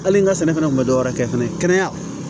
Hali n ka sɛnɛ fana tun bɛ dɔwɛrɛ kɛ fɛnɛ kɛnɛya